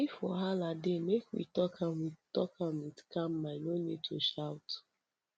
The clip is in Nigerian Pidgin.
if wahala dey make we talk make we talk am with calm mind no need to shout